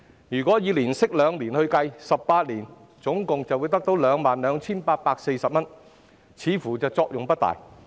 如果以年息2厘計算 ，18 年後會有 22,840 元，似乎作用不大。